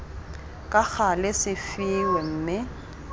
ka gale se fiwe mme